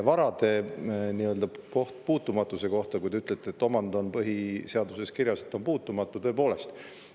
varade puutumatusse, siis kui te ütlete, et põhiseaduses on kirjas, et vara on puutumatu, siis tõepoolest.